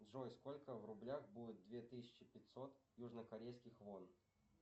джой сколько в рублях будет две тысячи пятьсот южно корейских вон